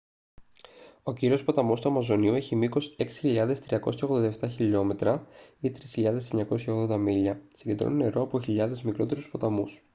ο κύριος ποταμός του αμαζονίου έχει μήκος 6.387 χιλιόμετρα 3.980 μίλια. συγκεντρώνει νερό από χιλιάδες μικρότερους ποταμούς